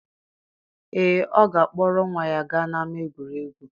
Ee, ọ ga-akpọrọ nwa ya gaa n'ama egwuregwu.